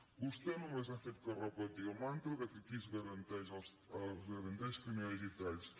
vostè només ha fet que repetir el mantra que aquí es garanteix que no hi hagi talls